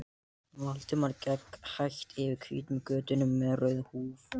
Valdimar gekk hægt eftir hvítum götunum með rauðu húf